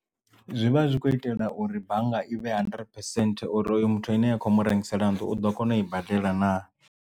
Zwi vha zwi khou itela uri bannga i vhe hundred percent uri hoyu muthu ine ya kho mu rengisela nnḓu u ḓo kona u i badela naa.